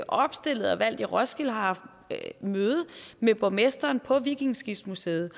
opstillet og valgt i roskilde og har haft møde med borgmesteren på vikingeskibsmuseet